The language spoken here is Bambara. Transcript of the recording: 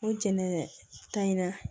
O jɛn ka in na